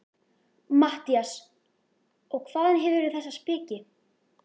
MATTHÍAS: Og hvaðan hefurðu þessa speki?